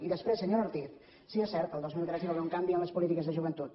i després senyora ortiz sí és cert el dos mil tres hi va haver un canvi en les polítiques de joventut